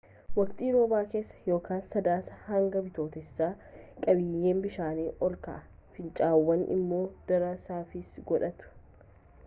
waqtii roobaa keessa sadaasaa hanga bitootessaatti qabiyyeen bishaanii ol ka’a fincaa’aawwan immoo daran saffisa godhatu